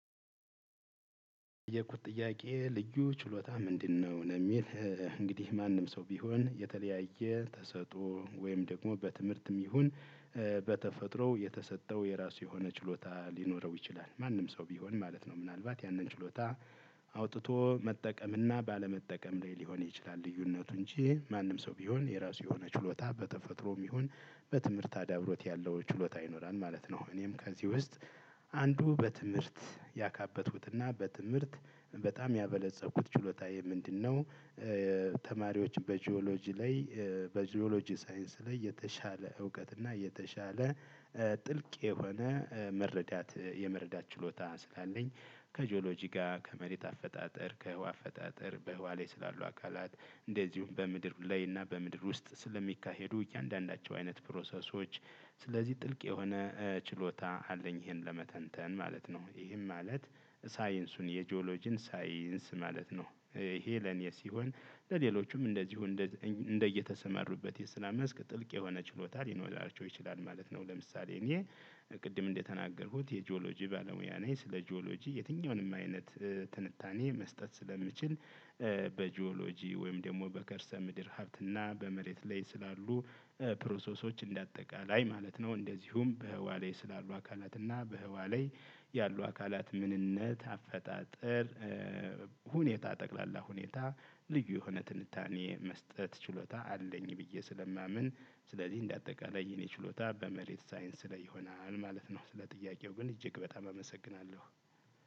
የተጠየቅኩት ጥያቄ ልዩ ችሎታ ምንድነው? ነው የሚል እንግዲህ ማንም ሰው ቢሆን የተለያየ ተሰጦ ወይም ደግሞ በትምህርትም ይሁን በተፈጥሮ የተሰጠው የራሱ የሆነ ችሎታ ሊኖረው ይችላል ማንም ሰው ቢሆን ማለት ነው። ምናልባት ያንን ችሎታ አውጥቶ መጠቀምና ባለመጠቀም ላይ ሊሆን ይችላል ልዩነቱ እንጂ ማንም ሰው ቢሆን የራሱ የሆነ ችሎታ በተፈጥሮም ይሁን በትምህርት አዳብሮት ያለው ችሎታ ይኖራል ማለት ነው። እኔም ከዚህ ውስጥ አንዱ በትምህርት ያካበትኩትና በትምህርት በጣም ያበለፀግኩት ችሎታዬ ምንድነው? ተማሪዎች በጂኦሎጂ ላይ በጂኦሎጂ ሳይንስ ላይ የተሻለ እውቀት እና የተሻለ ጥልቅ የሆነ መረዳት የመረዳት ችሎታ ስላለኝ ከጂኦሎጂ ጋር ከመሬት አፈጣጠር ከህዋ አፈጣጠር በህዋ ላይ ስላሉ አካላት እንደዚሁም በምድር ላይ እና በምድር ውስጥ ስለሚካሄዱ እያንዳንዳቸው አይነት ፕሮሰሶች ስለዚህ ጥልቅ የሆነ ችሎታ አለኝ። ይሄን ለመተንተን ማለት ነው ይሄም ማለት ሳይንሱን የጂኦሎጂን ሳይንስ ማለት ነው። ይሄ ለኔ ሲሆን ለሌሎቹም እንደዚሁ እንደየተሰመሩበት የሰራ መስክ ጥልቅ የሆነ ችሎታ ሊኖራቸው ይችላል ማለት ነው። ለምሳሌ እኔ ቅድም እንደተናገርኩት የጂኦሎጂ ባለሙያ ነኝ ስለ ጂኦሎጂ የትኛውንም አይነት ትንታኔ መስጠት ስለምችል በጂኦሎጂ ወይም ደግሞ በከርሰ ምድር ሀብት እና በመሬት ላይ ስላሉ ፕሮሰሶች እንደ አጠቃላይ ማለት ነው። እንደዚሁም በህዋ ላይ ስላሉ አካላት እና በህዋ ላይ ያሉ አካላት ምንነት አፈጣጠር ሁኔታ ጠቅላላ ሁኔታ ልዩ የሆነ ትንታኔ መስጠት ችሎታ አለኝ ብዬ ስለማምን ስለዚህ እንደአጠቃላይ የእኔ ችሎታ በመሬት ሳይንስ ላይ ይሆናል ማለት ነው። ስለጥያቀው ግን እጅግ በጣም አመሰግናለሁ።